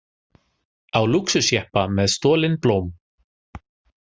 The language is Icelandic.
Á lúxusjeppa með stolin blóm